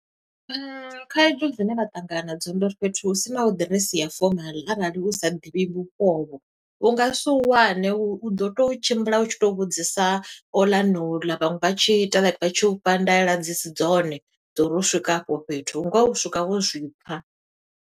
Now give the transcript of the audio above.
Khaedu dzine vha ṱangana na dzo, ndi uri fhethu hu sinaho ḓiresi ya fomaḽi, arali u sa ḓivhi vhupo u vho, u nga si hu wane, u ḓo to tshimbila u tshi to vhudzisa oḽa na oḽa. Vhaṅwe vha tshi ita like, vha tshi u fha ndaela dzi si dzone, dzo uri u swika afho fhethu. Ngoho, u swika wo zwi pfa.